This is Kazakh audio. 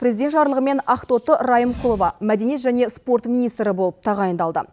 президент жарлығымен ақтоты райымқұлова мәдениет және спорт министрі болып тағайындалды